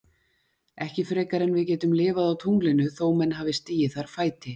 Ekki frekar en við getum lifað á tunglinu þó menn hafi stigið þar fæti.